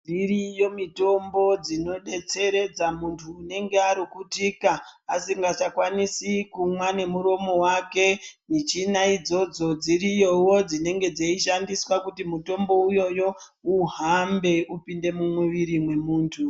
Dziriyo mitombo dzinodetseredza muntu unenga arukutika asangachakwanisi kumwa nemuromo wako michina idzodzo dziriyowo dzinenge dzeishandiswa kuti mutombo iwowo uhambe upinde mumwiri memuntu .